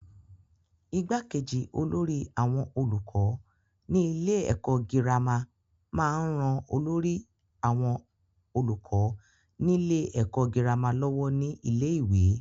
igbákejì olórí àwọn olùkọ́ nílé ẹ̀kọ́ gírámà máa ń ran olórí àwọn olùkọ nílé ẹ̀kọ́ gírámà lọ́wọ́ ní ilé-ìwé.